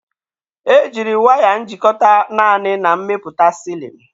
E jiri waya njikọta naanị na mmepụta silin.